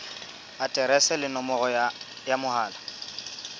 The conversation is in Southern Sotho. aterese le nomoro ya mohala